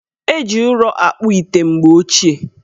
Eji ụrọ akpụ ite mgbe ochie.